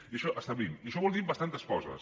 i això establim i això vol dir bastantes coses